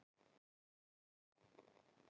Verð á minkaskinnum hækkar enn